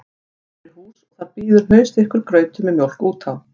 Komnir í hús og þar bíður hnausþykkur grautur með mjólk út á